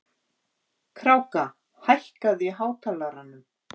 Kráka, hækkaðu í hátalaranum.